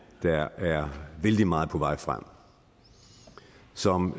der er vældig meget på vej frem og som